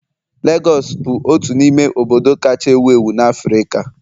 Legọs bụ otu n'ime obodo kacha ewu ewu na Africa.